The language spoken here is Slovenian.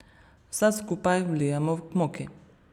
Vse skupaj vlijemo k moki.